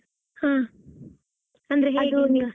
ಹಾ .